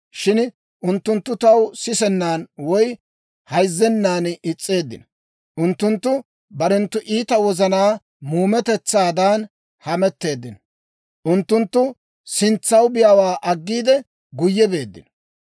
Shin unttunttu taw sisennan woy hayzzennan is's'eeddino. Unttunttu barenttu iita wozanaa muumetetsaadan hametteeddino; unttunttu sintsaw biyaawaa aggiide, guyye beeddino.